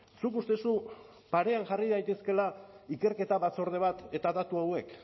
zuk uste duzu parean jarri daitezkeela ikerketa batzorde bat eta datu hauek